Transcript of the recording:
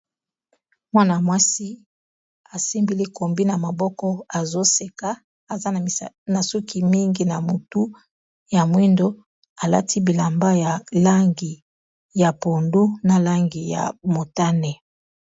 Mwana-mwasi asembili kombi na maboko azoseka aza na suki mingi na motu ya mwindo alati bilamba ya langi ya pondu, na langi ya motane.